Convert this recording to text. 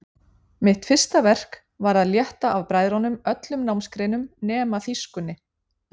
Mitt fyrsta verk var að létta af bræðrunum öllum námsgreinum nema þýskunni.